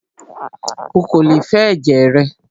Ó kò lè fẹ ẹ̀jẹ̀ rẹ!